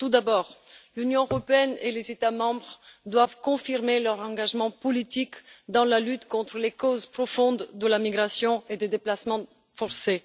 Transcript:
Tout d'abord, l'Union européenne et les États membres doivent confirmer leur engagement politique dans la lutte contre les causes profondes de la migration et des déplacements forcés.